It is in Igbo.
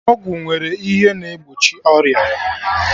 Ọgwụ nwere ihe na egbochi ọrịa